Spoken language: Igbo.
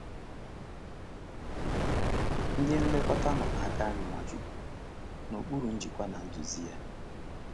Ndị nlekọta nọ n’aka nri Nwachukwu—n’okpuru njikwa na nduzi ya.